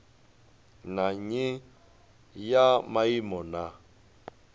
na nnyi ya maimo na